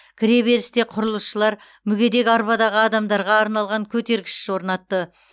кіреберісте құрылысшылар мүгедек арбадағы адамдарға арналған көтергіш орнатты